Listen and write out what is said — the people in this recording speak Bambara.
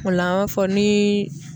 O la an b'a fɔ ni